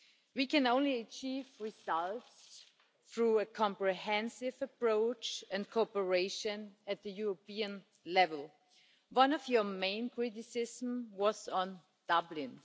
We can only achieve results through a comprehensive approach and cooperation at the European level. One of your main criticisms was on Dublin.